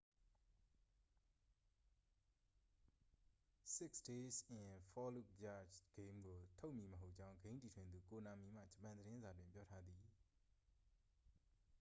six days in fallujah ဂိမ်းကို ထုတ်မည်မဟုတ်ကြောင်း ဂိမ်းတည်ထွင်သူ ကိုနာမီမှ ဂျပန်သတင်းစာတွင် ပြောထားသည်